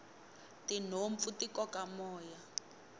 tinhompfu ti koka moya